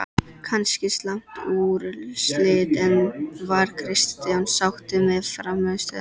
Kannski slæm úrslit, en var Kristján sáttur með frammistöðuna?